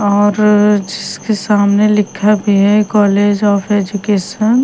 और जिसके सामने लिखा भी है कॉलेज ऑफ एजुकेशन --